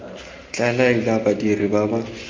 tla laela badiri ba ba